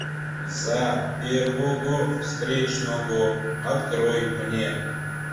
за первого встречного открой мне